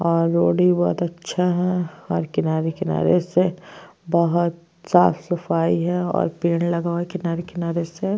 और रोड भी बहोत अच्छा है और किनारे-किनारे से बहोत साफ सफाई है और पेड़ लगा हुआ है किनारे-किनारे से --